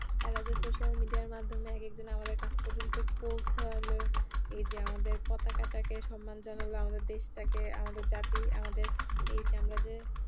তারা যে social media র মাধ্যমে এক এক দিন আমাদের কাছ পর্যন্ত পৌছালো এই যে আমাদের পতাকাটাকে সম্মান জানালো আমাদের দেশটাকে আমাদের জাতি আমাদের এই যে আমরা যে